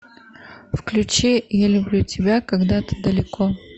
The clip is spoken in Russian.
включи я люблю тебя когда ты далеко